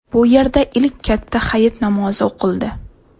Bu yerda ilk katta hayit namozi o‘qildi.